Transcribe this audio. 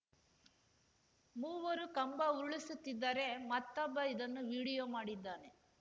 ಮೂವರು ಕಂಬ ಉರುಳಿಸುತ್ತಿದ್ದರೆ ಮತ್ತೊಬ್ಬ ಇದನ್ನು ವಿಡಿಯೋ ಮಾಡಿದ್ದಾನೆ